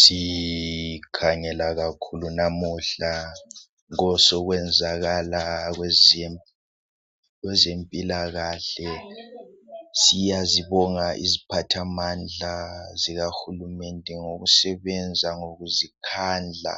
Sikhangela kakhulu namuhla kwezokwenzakala kwezempilakahle. Siyazibonga iziphathamandla zikahulumende ngokusebenza ngokuzikhandla